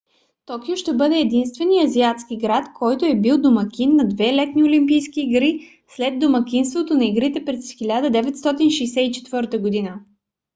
токио ще бъде единственият азиатски град който е бил домакин на две летни олимпийски игри след домакинството на игрите през 1964 г